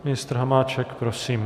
Ministr Hamáček, prosím.